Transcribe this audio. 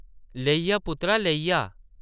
‘‘लेई आ, पुत्तरा, लेई आ ।’’